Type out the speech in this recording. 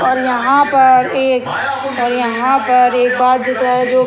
और यहां पर एक और यहां पर एक जो --